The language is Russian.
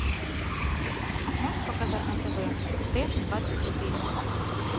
можешь показать на тв т двадцать четыре